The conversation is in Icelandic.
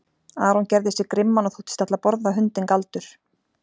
Aron gerði sig grimman og þóttist ætla að borða hundinn Galdur.